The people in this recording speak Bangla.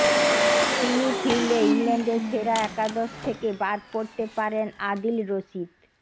তিনি ফিরলে ইংল্যান্ডের সেরা একাদশ থেকে বাদ পড়তে পারেন আদিল রশিদ